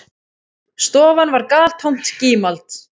Stofan var galtómt gímald.